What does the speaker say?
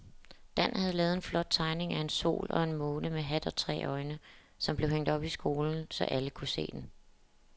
Dan havde lavet en flot tegning af en sol og en måne med hat og tre øjne, som blev hængt op i skolen, så alle kunne se den.